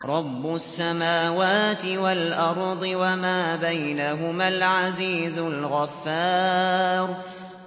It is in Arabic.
رَبُّ السَّمَاوَاتِ وَالْأَرْضِ وَمَا بَيْنَهُمَا الْعَزِيزُ الْغَفَّارُ